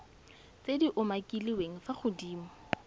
tse di umakiliweng fa godimo